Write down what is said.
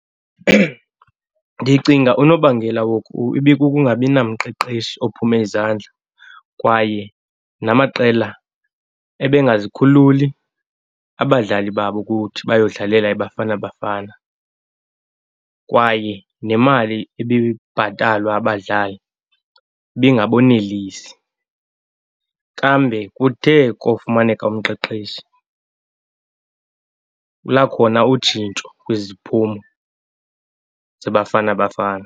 Ndicinga unobangela woku ibikukungabi namqeqeshi ophume izandla kwaye namaqela ebengazikhululi abadlali babo ukuthi bayodlalela iBafana Bafana, kwaye nemali ibibhatalwa abadlali ibingabonelisi. Kambe kuthe kofumaneka umqeqeshi lakhona utshintsho kwezi ziphumo zeBafana Bafana.